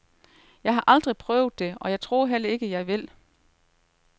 Jeg har aldrig prøvet det og tror heller ikke, jeg vil.